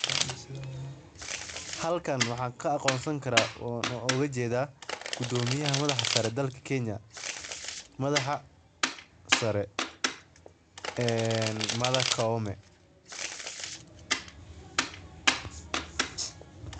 Halkan waxaan ka aqoonsan karaa oo aan ujeeda gadomiyaha madaxa sare dalka kenya madaxa sare mada kaume.